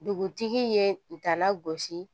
Dugutigi ye dala gosi